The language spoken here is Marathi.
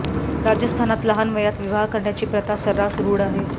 राजस्थानात लहान वयात विवाह करण्याची प्रथा सर्रास रूढ आहे